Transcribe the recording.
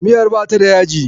Miyar ba ta da yaji.